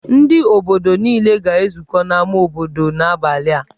Ndị obodo niile ga-ezukọ n'ámá obodo n'abalị a.